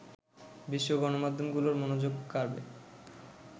বিশ্ব গণমাধ্যমগুলোর মনোযোগ কাড়বে